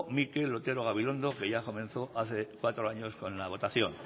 mikel otero gabirondo que ya comenzó hace cuatro años con la votación